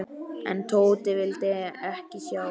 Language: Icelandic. En Tóti vildi ekki sjá.